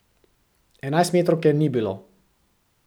Enajstmetrovke ni bilo.